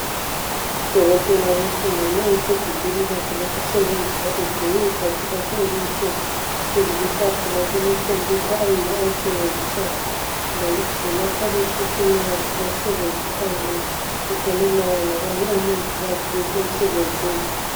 udokotela wesimami esegumbini lakhe lokusebenzela egqoke ibhatshi lakhe elimhlophe phezu kwetafula kule computer eyiyo ayisebenzisayo le ngumakhala ekhukhwini wakhe awusebenzisa nxa efonelana labanye omongikazi esemsebenzini